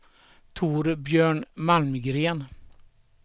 Torbjörn Malmgren